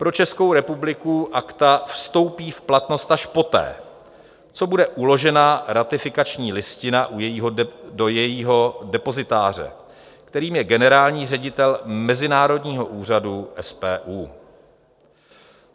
Pro Českou republiku Akta vstoupí v platnost až poté, co bude uložena ratifikační listina do jejího depozitáře, kterým je generální ředitel mezinárodního úřadu SPU.